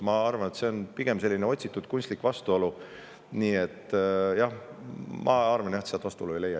Ma arvan, et see on pigem selline otsitud kunstlik vastuolu, aga sealt vastuolu ei leia.